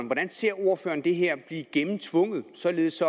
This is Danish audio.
hvordan ser ordføreren det her blive gennemtvunget således